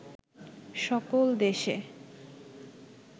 সকল দেশে